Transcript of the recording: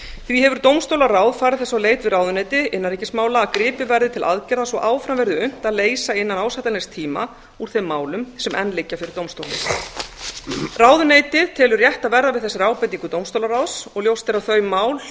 því hefur dómstólaráð farið þess á leit við ráðuneyti innanríkismála að gripið verði til aðgerða svo áfram verði unnt að leysa innan ásættanlegs tíma úr þeim málum sem enn liggja fyrir dómstólum ráðuneyti telur rétt að verða við þessari ábendingu dómstólaráðs og ljóst er að þau mál